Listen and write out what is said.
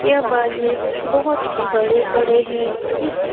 ये बाजे बहुत बड़े-बड़े है इस --